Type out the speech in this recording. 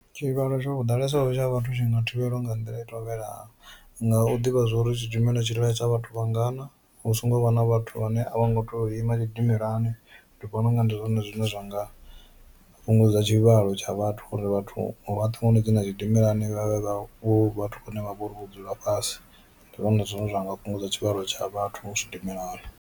Tshivhalo tsha hu ḓalesa tsha vhathu tshi nga thivhelwa nga nḓila i tevhelaho nga u ḓivha zwa uri tshidimela tshi ḽaisa vhathu vhangana hu songo vha na vhathu vhane a vho ngo to ima tshidimelani, ndi vhona unga ndi zwone zwine zwa zwi nga fhungudza tshivhalo tsha vhathu uri vhathu vhoṱhe vho no dzhena tshidimelani vhavhe vha vhathu vhane vha vhori vho dzula fhasi ndi zwone zwine zwa nga fhungudza tshivhalo tsha vhathu tshidimelani.